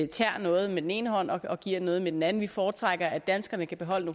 tager noget med den ene hånd og giver noget med den anden vi foretrækker at danskerne kan beholde